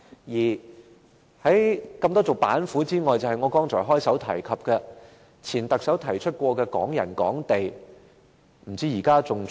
此外，在眾多板斧之中，還有我剛才開首提及、由前特首提出的"港人港地"措施。